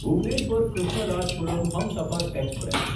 Bhubaneswar Krishnarajapuram Humsafar express